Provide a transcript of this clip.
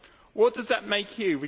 What does that make you?